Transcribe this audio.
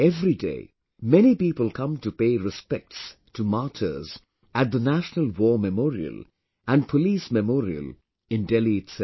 Everyday many people come to pay respects to martyrs at the National War Memorial and Police Memorial in Delhi itself